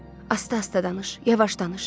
Asta-asta danış, yavaş danış.